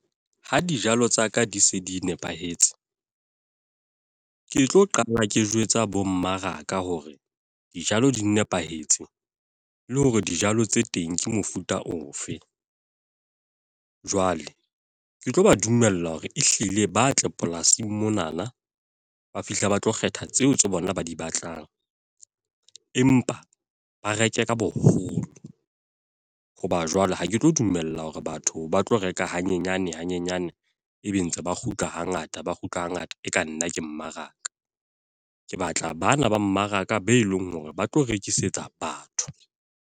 Ha dijalo tsa ka di se di nepahetse. Ke tlo qala ke jwetsa bo mmaraka hore, dijalo di nepahetse. Le hore dijalo tse teng ke mofuta ofe. Jwale ke tlo ba dumella hore ehlile ba tle polasing monana, ba fihle ba tlo kgetha tseo tsa bona ba di batlang. Empa ba reke ka boholo. Hoba jwale, ha ke tlo dumella hore batho ba tlo reka hanyenyane hanyenyane. E be ntse ba kgutla ha ngata, ba kgutla ha ngata, e ka nna ke mmaraka. Ke batla bana ba mmaraka be leng hore ba tlo rekisetsa batho.